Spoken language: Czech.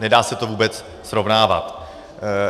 Nedá se to vůbec srovnávat.